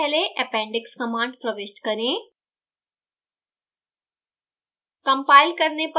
इस chapter से पहले appendix command प्रविष्ट करें